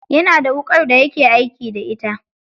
Yana da wuƙar daya ke aiki da ita.